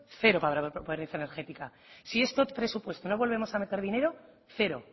cero para la pobreza energética si en estos presupuestos no volvemos a meter dinero cero